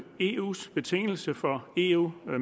eus betingelse for eu